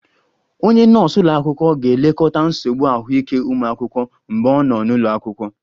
Onye nọọsụ ụlọ akwụkwọ ga-elekọta nsogbu ahụike ụmụ akwụkwọ mgbe ọ nọ n'ụlọ akwụkwọ